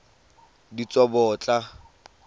ditsobotla